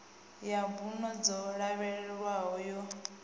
ya mbuno dzo lavhelelwaho yo